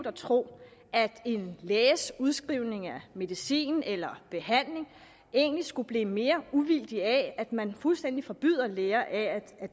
at tro at en læges udskrivning af medicin eller behandling egentlig skulle blive mere uvildig af at man fuldstændig forbyder læger at